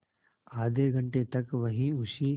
आधे घंटे तक वहीं उसी